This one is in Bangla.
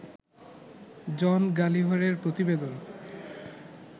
জন গালিভারের প্রতিবেদন